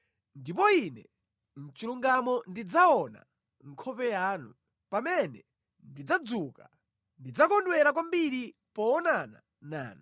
Ndipo ine mʼchilungamo ndidzaona nkhope yanu; pamene ndidzadzuka, ndidzakondwera kwambiri poonana nanu.